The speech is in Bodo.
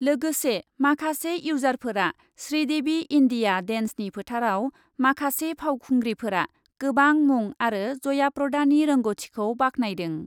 लोगोसे माखासे इउजारफोरा श्रीदेबि इन्डिया डेन्सनि फोथारआव माखासे फावखुंग्रिफोरा गोबां मुं आरो जयाप्रदानि रोंगथिखौ बाख्नायदों ।।